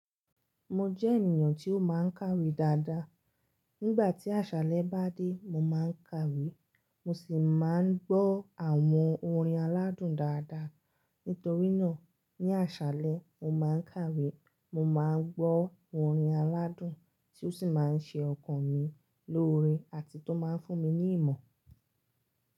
Mo jẹ́ ènìyàn tí ó máa ń kàwé dáadáa. Nígbà tí àṣálẹ́ bá dé, mo máa ń kàwé, mo sì máa ń gbọ́ àwọn orin aládùn dáadáa. Nítorínà ní àṣálẹ́, mo máa ń kàwé, mo máa ń gbọ́ orin aládùn tí ó sì máa ń ṣe ọkàn mi lóre àti tó máa ń fún mi ní ìmọ̀.